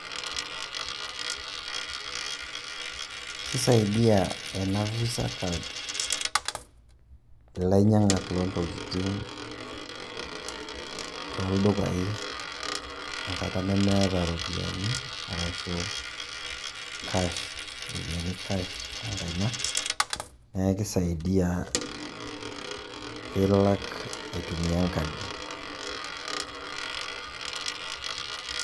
Kisaidia ena visa card ilainyang'ak loo ntokitin tooldukai enkata nemeeta iropiyiani arashu cash iropiyiani cash tenkaina, neeku kisaidia pilak aitumia enkadi.